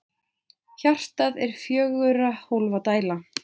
Hjartað er fjögurra hólfa dæla.